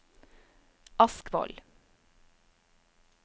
Askvoll